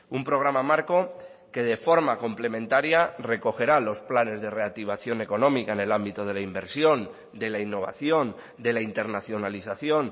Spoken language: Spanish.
un programa marco que de forma complementaria recogerá los planes de reactivación económica en el ámbito de la inversión de la innovación de la internacionalización